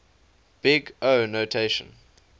big o notation